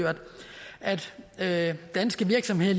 at danske virksomheder